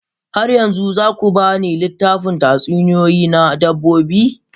Har yanzu za ku ba ni littafin tatsuniyoyi na dabbobi?